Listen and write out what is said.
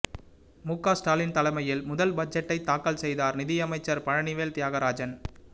க ஸ்டாலின் தலைமையில் முதல் பட்ஜெட்டை தாக்கல் செய்தார் நிதியமைச்சர் பழனிவேல் தியாகராஜன்